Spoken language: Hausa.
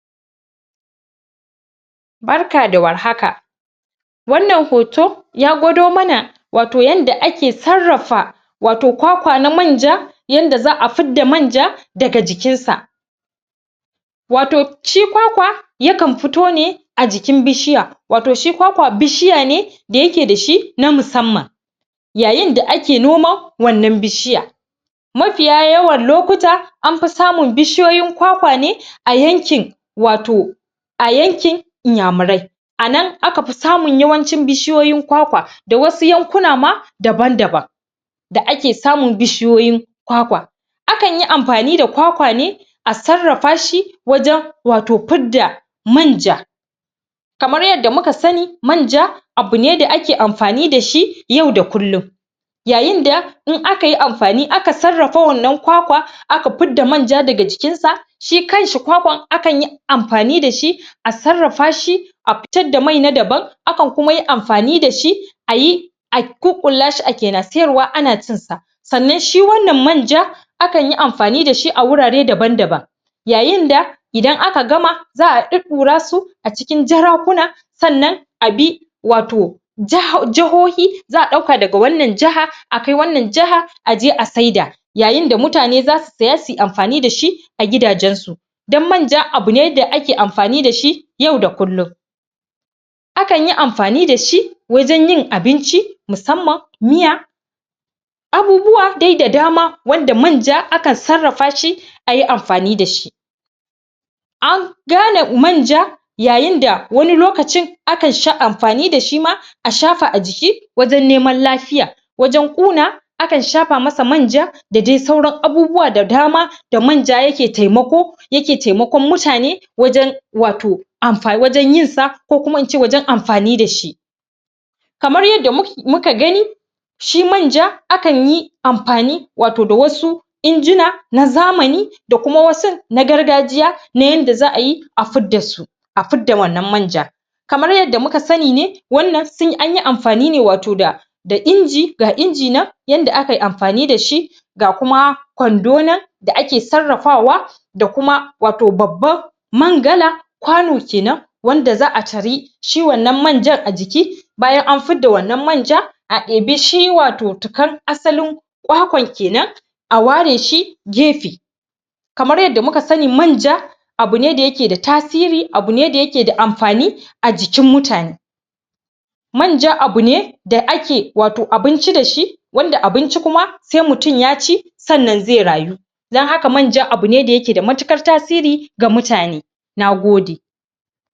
Barka da warhaka Wannan hoto ya gwado mana wato wanda ake sarrafa wato kwakwa na manja yanda za afidda manja daga jikinsa. wato shi kwakwa yakan fito ne a jikin bishiya, wato shi kwakwa bishiya ne da yake da shi na musamman yayin da ake noman wannan bishiyan, mafiya yawan lokuta an fi samun bishiyoyin kwakwa ne a yankin wato a yankin inyamurai a nan aka fi samun yawancin bishiyoyin kwakwa da wasu yankuna ma dabam-daban da ake samun bishiyoyin kwakwa Akan yi amfani da kwakwa ne a sarrafa shi wajen wato fidda man ja kamar yadda muka sani manja abu ne da ake amfani da shi yau da kullum. yayin da in aka yi amfani aka sarrafa wannan kwakwa a ka fidda manja daga jikinta shi kanshi kwakwan akan yi amfani da shi a sarrafa shi a fitad da mai na dabam akan kuma yi amfani da shi a yi a ƙuƙƙulla shi ake na siyarwa ana cinsa. Sannan shi wannan manja akan yi amfani da shi a wurare dabam-daban yayin da idan aka gama za a ɗuɗɗura su a cikin jarakuna sannan a bi wato jahohi za a ɗauka daga wannan jiha a kai wannan jaha a je a saida yayin da mutane za su saye su je su yi amfani da shi a gidajensu don manja a bu ne da ake amfani da shi yau da kullum akan yi amfani da shi wajen yin abinci musamman miya. abubuwa dai da dama wanda manja akan sarrafa shi a yi amfani da shi. an dole manja yayin da wani lokacin a kan sha amfani da shi ma a shafa a jiki wajen neman lafiya wajen ƙuna akan shafa musu manja da dai sauran abubuwa da dama. da manja yake taimako yake taimakon mutane. wajen wato wajen amfa yinsa ko kuma in ce wajen amfani da shi kamar yadda muka gani shi manja akan yi amfani wato da wasu injina na zamani da kuma wasun na gargajiya na yanda za ayi a fidda su a fidda wannan manjan. kamar yadda muka sani ne wannan sun yai amfani ne wato da da inji ga inji nan yanda a kai amfani da shi ga kuma kwando nan da ake sarrafawa da kuma wato babban mangala kwano ke nan wanda za tari shi wannan manjan a jiki bayan anfidda wannan manja a ebi shi wato tikan asalin kwakwan ke nan a ware shi gefe kamar yadda muka sani manja abu ne da yake da tasiri abu ne da amfani a jikin mutane. Manja abu ne da ake abinci da shi wanda abinci kuma sai mutum ya ci sannan zai rayu don haka manja abu ne da yake da matuƙar tasiri ga mutane, na gode.